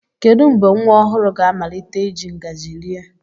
Kedu mgbe nwa ọhụrụ ga-amalite iji ngaji rie?